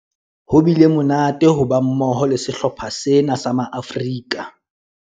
Ho bile monate ho ba mmoho le sehlopha sena sa Maafrika